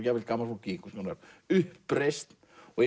jafnvel gamalt fólk í einhvers konar uppreisn